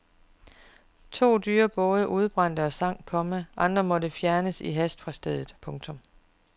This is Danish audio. To dyre både udbrændte og sank, komma andre måtte i hast fjernes fra stedet. punktum